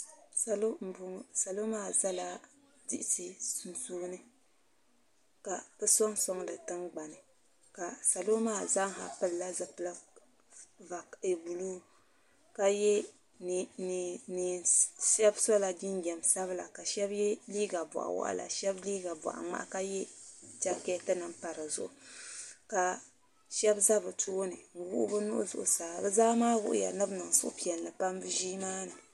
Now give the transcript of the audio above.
Salo m-bɔŋɔ salo maa zala diɣisi sunsuuni ka bɛ sɔŋsɔŋ di tiŋgbani ka salo maa zaa pilila zupila buluu ka ye shɛba sɔla jinjɛm sabila ka shɛba ye leega bɔɣ’waɣila ka shɛba ye leega bɔɣ’ŋmahi ka ye jakaatinima m-pa di zuɣu ka shɛba za bɛ tooni n-waɣi bɛ nuhi zuɣusaa bɛ zaa maa wuhiya ni bɛ niŋ suhupiɛlli pam bɛ ʒii maa ni